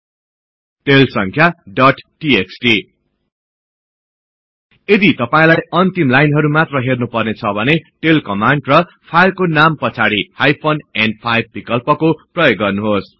tail संख्या dot TXT यदि तपाईलाई अन्तिम लाइनहरु मात्र हेर्नुपर्ने छ भने टेल कमान्ड र फाइलको नाम पछाडि हाइफेन न्5 विकल्पको प्रयोग गर्नुहोस्